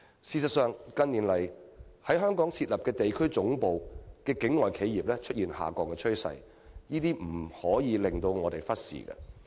事實上，近年來港設立地區總部的境外企業出現下降趨勢，這情況實在不容我們忽視。